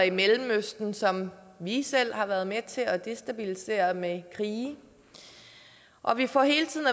i mellemøsten som vi selv har været med til at destabilisere med krige og vi får hele tiden